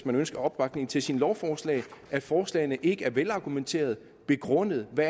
man ønsker opbakning til sine lovforslag at forslagene ikke er velargumenterede og begrundede med